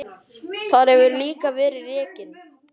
Þar hefur líka verið rekin